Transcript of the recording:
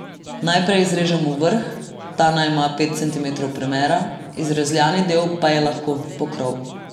Najprej izrežemo vrh, ta naj ima pet centimetrov premera, izrezljani del pa je lahko pokrov.